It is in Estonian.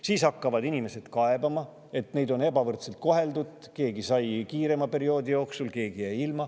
Siis hakkavad inimesed kaebama, et neid on ebavõrdselt koheldud, sest keegi sai kiirema perioodi jooksul, aga keegi jäi sellest ilma.